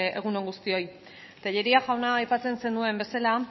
egun on guztioi tellería jauna aipatzen zenuen bezala